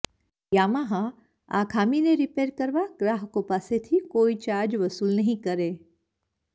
યામાહાએ આ ખામીને રિપેર કરવા ગ્રાહકો પાસેથી કોઈ ચાર્જ વસૂલ નહીં કરે